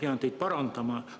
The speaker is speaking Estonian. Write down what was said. Ma pean teid parandama.